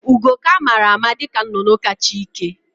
Ugo ka amara ama dịka nnụnụ ka cha ike